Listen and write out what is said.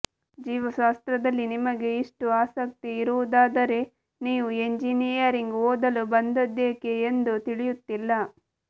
ಜೀವಶಾಸ್ತ್ರದಲ್ಲಿ ನಿಮಗೆ ಇಷ್ಟು ಆಸಕ್ತಿ ಇರುವುದಾದರೆ ನೀವು ಎಂಜಿನಿಯರಿಂಗ್ ಓದಲು ಬಂದದ್ದೇಕೆ ಎಂದು ತಿಳಿಯುತ್ತಿಲ್ಲ